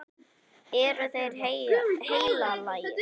Eru þeir heilagir?